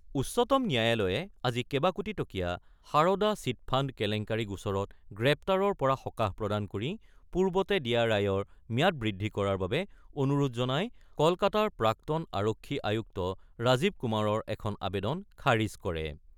উচ্চতম ন্যায়ালয়ে আজি কেবাকোটিটকীয়া সাৰদা-চিটফাণ্ড কেলেংকাৰী গোচৰত গ্ৰেপ্তাৰৰ পৰা সকাহ প্ৰদান কৰি পূৰ্বতে দিয়া ৰায়ৰ ম্যাদ বৃদ্ধি কৰাৰ বাবে অনুৰোধ জনাই কলকাতাৰ প্ৰাক্তন আৰক্ষী আয়ুক্ত ৰাজীৱ কুমাৰৰ এখন আবেদন খাৰিজ কৰে।